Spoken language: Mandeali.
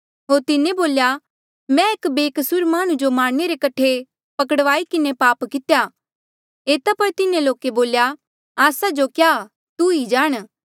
होर तिन्हें बोल्या मैं एक बेकसूर माह्णुं जो मारणे रे कठे पकड़वाई किन्हें पाप कित्या एता पर तिन्हें लोके बोल्या आस्सा जो क्या तू ई जाण